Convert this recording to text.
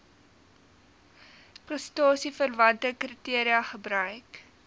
prestasieverwante kriteria gebruik